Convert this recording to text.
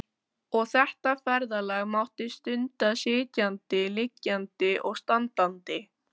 Og þetta ferðalag mátti stunda sitjandi, liggjandi og standandi